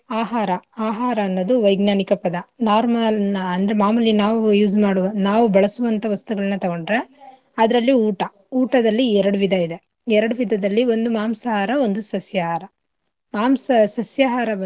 ಆಹಾರ ಆಹಾರ ಅನ್ನದು ವೈಜ್ಞಾನಿಕ ಪದ normal ಅಂದ್ರೆ ನಾವ್ ಮಾಮೂಲಿ ನಾವ್ use ಮಾಡುವ ನಾವ್ ಬಳಸುವಂಥ ವಸ್ತುಗಳ್ನ ತೊಗೊಂದ್ರೆ ಅದ್ರಲ್ಲಿ ಊಟ, ಊಟದಲ್ಲಿ ಎರಡು ವಿಧ ಇದೆ ಎರಡು ವಿಧದಲ್ಲಿ ಒಂದು ಮಾಂಸಾಹಾರ, ಒಂದು ಸಸ್ಯಾಹಾರ ಮಾಂಸ ಸಸ್ಯಾಹಾರ.